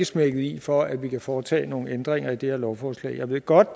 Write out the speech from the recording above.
smækket i for at vi kan foretage nogle ændringer i det her lovforslag jeg ved godt